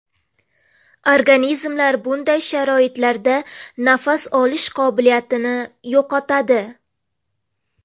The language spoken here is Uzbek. Organizmlar bunday sharoitlarda nafas olish qobiliyatini yo‘qotadi.